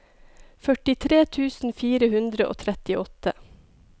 førtitre tusen fire hundre og trettiåtte